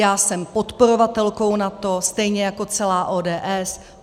Já jsem podporovatelkou NATO, stejně jako celá ODS.